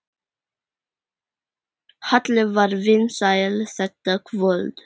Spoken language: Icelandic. Halli var vinsæll þetta kvöld.